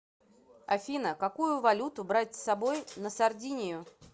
афина какую валюту брать с собой на сардинию